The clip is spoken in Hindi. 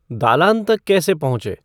दालान तक कैसे पहुँचें